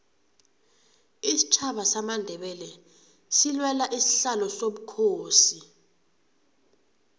isitjhaba samandebele silwela isihlalo sobukhosi